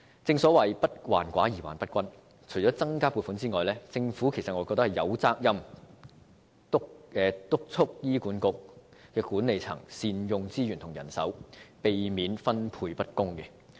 正所謂"不患寡而患不均"，除增加撥款外，我認為政府有責任督促醫管局管理層善用資源和人手，避免分配不公。